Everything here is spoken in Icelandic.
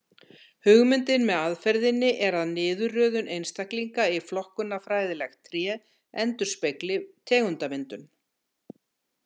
Hugmyndin með aðferðinni er að niðurröðun einstaklinga í flokkunarfræðilegt tré endurspegli tegundamyndun.